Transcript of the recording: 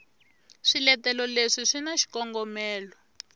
swiletelo leswi swi na xikongomelo